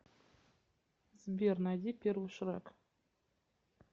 сбер найди первый шрек